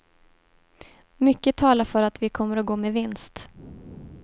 Mycket talar för att vi kommer att gå med vinst.